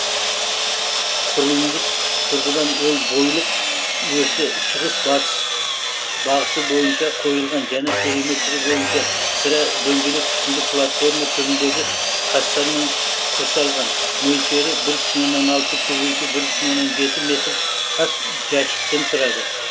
құрылымдық тұрғыдан ол бойлық осі шығыс батыс бағыты бойынша қойылған және периметрі бойынша сірә дөңгелек пішінді платформа түріндегі тастармен құрсалған мөлшері бір бүтін оннан алты көбейту бір бүтін оннан жеті метр тас жәшіктен тұрады